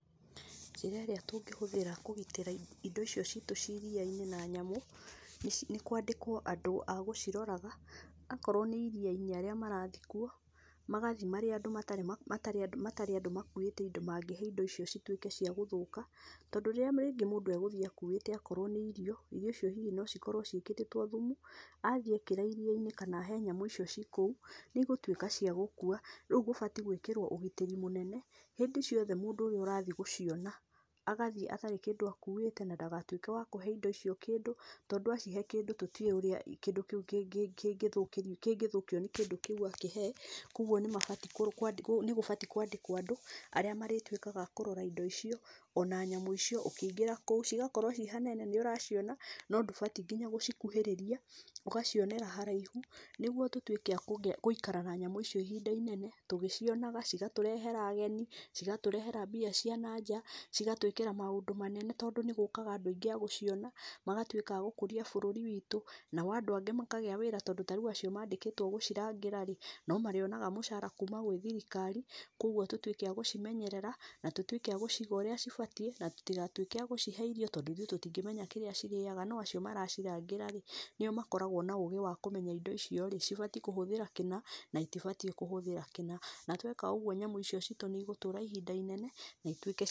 Njĩra ĩrĩa tũngĩhũthĩra kũgitĩra indo icio citũ ci iria-inĩ na nyamũ, nĩ kwandĩkwo andũ agũciroraga, akorwo nĩ arĩa-nĩ arĩa marathiĩ kuo, magathiĩ marĩ andũ matarĩ andũ makuĩte indo mangĩhe indo icio cituĩke cia gũthũka, tondũ rĩrĩa mũndũ athiĩ akuĩte akorwo nĩ irio, irio icio hihi no cikorwo ciĩkĩrĩtwo thumu, athĩ ekĩra iria-inĩ kana ahe nyamũ icio ikũu, nĩcigũtwĩka cia gũkua, rĩu gũbatiĩ gwĩkĩrwo ũgitĩri mũnene, hĩndĩ ciothe mũndũ ũrĩa ũrathiĩ gũciona agathiĩ atarĩ kĩndũ akuĩte na ndagatuĩke wa kũhe indo icio kĩndũ tondũ acihe kĩndũ tũtiũĩ ũrĩa kĩndũ kĩu kĩngĩthũkio nĩ kĩndũ kĩu akĩhee, kũoguo nĩgũbatiĩ kwandĩkwo andũ arĩa marĩtuĩkaga akũrora indo icio ona nyamũ icio ũkĩingĩra kũu igakorwo ciĩ hanene, nĩũraciona no ndũbatiĩ gũcikuhĩrĩria, ũgacionera haraihu nĩguo tũtwĩke agũika na nyamũ icio ihinda inene, ũgĩcionaga, cigatũrehera ageni, cigatũrehera mbia ciananja, cigatwĩkĩra maũndũ manene tondũ nĩgũkaga andũ aingĩ agũciona, magagĩtuĩka agũkũria bũrũri wĩtũ, nao andũ angĩ makagĩa wĩra tondũ rĩu acio mandĩkĩtwo gũcirangĩra -rĩ, no marĩonaga mũcara kuuma gwĩ thirikari kũoguo tũtwĩke agũcimenyerera, na tũtwĩke agũciga ũrĩa cibatiĩ na tũtigatwĩke agũcihe irio tondũ ithuĩ tũtingĩmenya kĩrĩa cirĩaga no acio maracirangĩ-rĩ, nĩo makoragwo na ũgĩ wa kũmenya indo icio-rĩ ibatiĩ kũhũthĩra kĩna na itibatiĩ kũhũthĩra kĩna, na tweka ũguo nyamũ icio citũ nĩ cigũtũra ihinda inene na itwĩke cia.